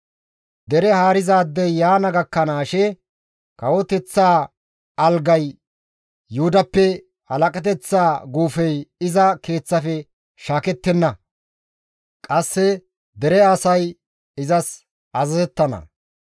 Dere haarizaadey yaana gakkanaashe, kawoteththaa algay Yuhudappe, halaqateththa guufey iza keeththafe shaakettenna. Qasse dere asay izas azazettana.